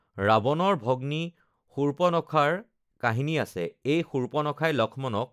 ৰাৱণব ভগ্নী শূৰ্পণখাৰ কাহিনী আছে, এই শূৰ্পণখাই লক্ষ্মণক